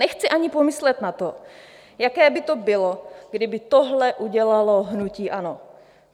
Nechci ani pomyslet na to, jaké by to bylo, kdyby tohle udělalo hnutí ANO.